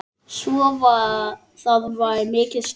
Svo það var mikið stuð.